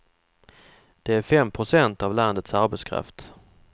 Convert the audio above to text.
Det är fem procent av landets arbetskraft.